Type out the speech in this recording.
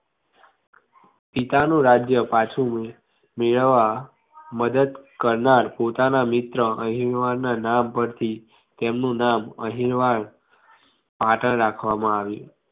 પિતાનું રાજ્ય પાછુ મેળવવા મદદ કરનાર પોતાના મિત્ર અણહિલવાડ ના નામ પરથી તેમનું નામ અણહિલવાડ પાટણ રાખવામાં આવ્યું